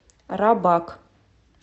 рабак